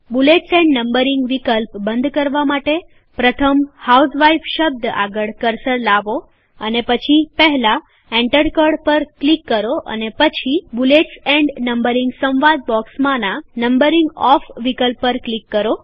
bullets and numbering વિકલ્પ બંધ કરવા માટે પ્રથમ હાઉસવાઇફ શબ્દ આગળ કર્સર લાવો અને પછી પહેલાં એન્ટર કળ પર ક્લિક કરો અને પછી બૂલેટ્સ એન્ડ નમ્બરીંગ સંવાદ બોક્સમાંના નંબરીંગ ઓફ વિકલ્પ પર ક્લિક કરો